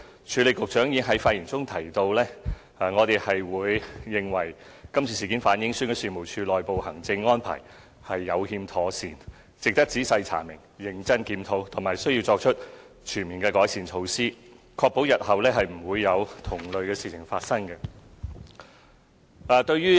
署理局長在上星期的發言中提到，我們認為今次事件反映選舉事務處的內部行政安排有欠妥善，值得仔細查明、認真檢討，並須作出全面的改善，確保日後不會再有同類事情發生。